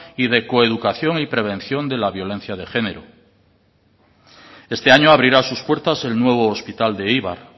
y de coeducación y prevención de la violencia de género este año abrirá sus puertas el nuevo hospital de eibar